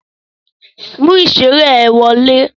Mú ìṣeré ẹ wọlé!